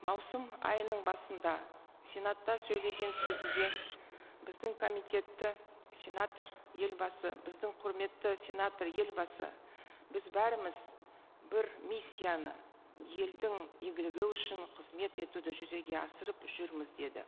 маусым айының басында сенатта сөйлеген сөзінде біздің комитетті сенатор елбасы біздің құрметті сенатор елбасы біз бәріміз бір миссияны елдің игілігі үшін қызмет етуді жүзеге асырып жүрміз деді